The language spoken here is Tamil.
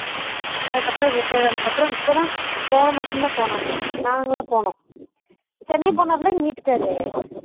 அதுக்கு அப்பறம் retired ஆனதுக்கு அப்பறம் இப்போ தான் போன மாசம் தான் போனாங்க நாங்களாம் போனோம் சென்னை போனார்ல எங்க வீட்டுக் கார்ரு